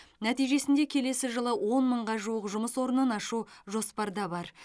нәтижесінде келесі жылы он мыңға жуық жұмыс орнын ашу жоспарда бар